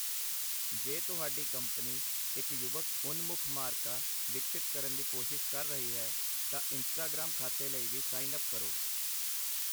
ਜੇ ਤੁਹਾਡੀ ਕੰਪਨੀ ਇੱਕ ਯੁਵਕ ਉਨ-ਮੁੱਖ ਮਾਰਕਾ ਵਿਕਸਿਤ ਕਰਨ ਦੀ ਕੋਸ਼ਿਸ਼ ਕਰ ਰਹੀ ਹੈ, ਤਾਂ ਇੰਸਟਾਗ੍ਰਾਮ ਖਾਤੇ ਲਈ ਵੀ ਸਾਈਨ ਅੱਪ ਕਰੋ।